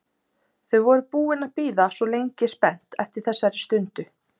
Þau voru búin að bíða svo lengi spennt eftir þessari stundu.